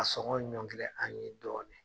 KA sɔngɔ ɲɔngiri an ye dɔɔnin